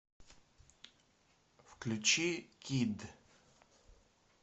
включи кидд